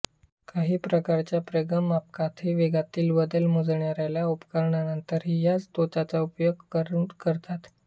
काही प्रकारच्या प्रवेगमापकांतही वेगातील बदल मोजणाऱ्या उपकरणांतही याच तत्त्वाचा उपयोग करतात